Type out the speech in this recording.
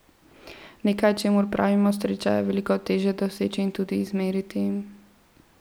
Nekaj, čemur pravimo sreča, je veliko težje doseči in tudi izmeriti.